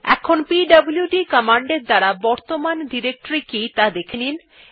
এখন পিডব্লুড কমান্ড এর দ্বারা বর্তমান ডিরেক্টরী কি ত়া দেখেনি